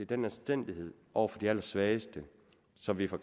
den anstændighed over for de allersvageste som vi fra